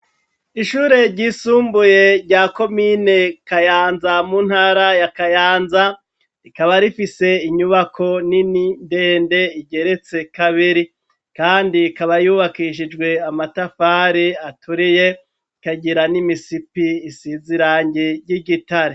Ishure ry'isumbuye rya komine kayanza, mu ntara ya kayanza ,rikaba rifise inyubako n'inini ndende, igeretse kabiri, kandi ikaba yubakishijwe amatafari aturiye, ikagira n'imisipi isizirangi ry'igitare.